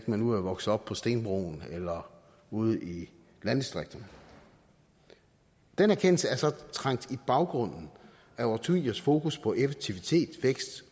man nu er vokset op på stenbroen eller ude i landdistrikterne den erkendelse er så trængt i baggrunden af årtiers fokus på effektivitet vækst